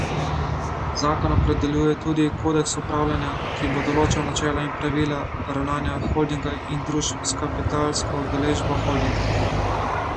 Zakon opredeljuje tudi kodeks upravljanja, ki bo določal načela in pravila ravnanja holdinga in družb s kapitalsko udeležbo holdinga.